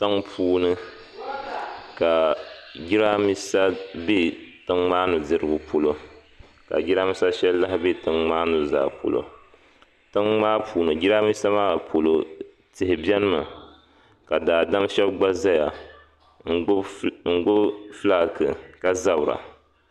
Tiŋpuuni ka jirambisa be tiŋ maa nudirigu polo ka jirambisa sheli lahi be tiŋ maa nuzaa polo tiŋmaa puuni jirambisa maa polo tihi biɛnimi ka daadam sheba gba zaya n gbibi filaaki ka zabra.